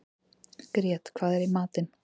Grét, hvað er í matinn?